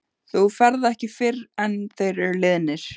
Þú ferð ekki fyrr en þeir eru liðnir.